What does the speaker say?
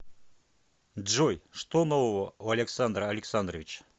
джой что нового у александра александровича